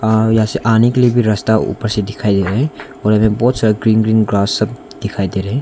यहां से आने के लिए भी रास्ता ऊपर से दिखाइ दे रहा है और बहुत सारा ग्रीन ग्रास सब दिखाई दे रहे है।